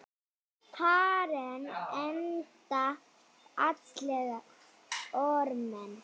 Karen: Enda fallegir formenn?